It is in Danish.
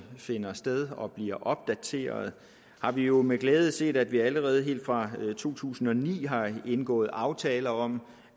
finder sted og bliver opdateret har vi jo med glæde set at vi allerede helt fra to tusind og ni har indgået aftaler om